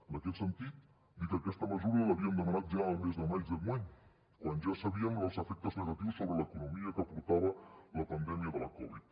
en aquest sentit dir que aquesta mesura l’havíem demanat ja el mes de maig d’enguany quan ja sabíem els efectes negatius sobre l’economia que portava la pandèmia de la covid